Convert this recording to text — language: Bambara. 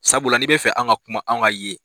Sabula n'i bɛ fɛ an ka kuma, anw ka ye.